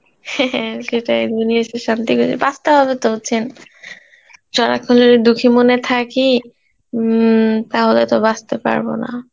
হ্যাঁ হ্যাঁ সেটাই শান্তি করে, বাঁচতে হবে তো বুজছেন, সারাক্ষণ যদি দুখী মনে থাকি, উম তাহলে তো বাচতে পারব না